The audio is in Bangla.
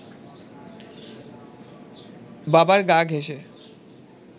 বাবার গা ঘেঁসে